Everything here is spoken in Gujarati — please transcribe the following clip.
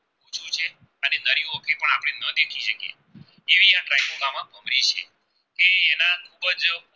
ખુબ જ